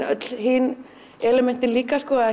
öll hin elementin líka